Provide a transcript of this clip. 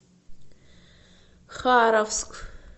харовск